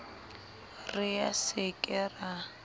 re a se ke a